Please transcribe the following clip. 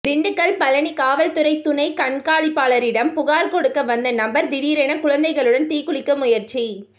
திண்டுக்கல் பழனி காவல்துறை துணை கண்காணிப்பாளரிடம் புகார் கொடுக்க வந்த நபர் திடீரென குழந்தைகளுடன் தீக்குளிக்க முயற்சி